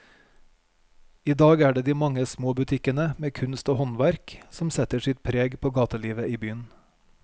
I dag er det de mange små butikkene med kunst og håndverk som setter sitt preg på gatelivet i byen.